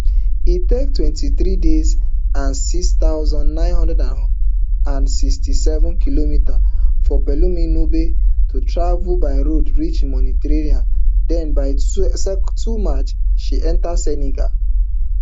e take twenty-three days and six thousand, nine hundred and sixty-seven kilometres for pelumi nubi to travel by road reach mauritania den by two march she enta senegal